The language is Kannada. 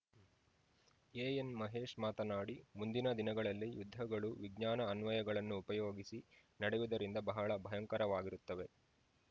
ಎಎನ್‌ ಮಹೇಶ್‌ ಮಾತನಾಡಿ ಮುಂದಿನ ದಿನಗಳಲ್ಲಿ ಯುದ್ಧಗಳು ವಿಜ್ಞಾನ ಅನ್ವಯಗಳನ್ನು ಉಪಯೋಗಿಸಿ ನಡೆಯುವುದರಿಂದ ಬಹಳ ಭಯಂಕರವಾಗಿರುತ್ತವೆ